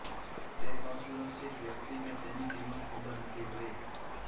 તે અસુરક્ષિત વ્યક્તિ કે તેની કિંમત ખબર નથી ભય